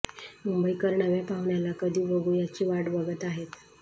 मुंबईकर नव्या पाहुण्याला कधी बघू याची वाट बघत आहेत